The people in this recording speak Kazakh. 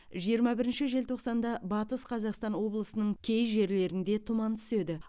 жиырма бірінші желтоқсанда батыс қазақстан облысының кей жерлерінде тұман түседі